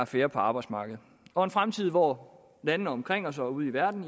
færre på arbejdsmarkedet og en fremtid hvor landene omkring os og ude i verden